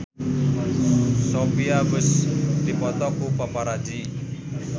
Sophia Bush dipoto ku paparazi